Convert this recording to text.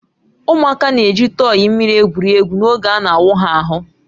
Ụmụaka na-eji tọyị mmiri egwuri egwu n'oge a na-awụ ha ahụ